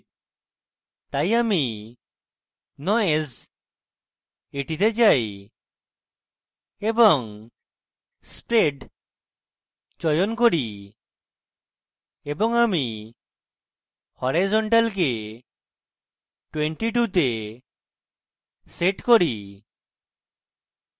তাই আমি noise এ যাই এবং spread চয়ন করি এবং আমি horizontal কে 22 এ set করি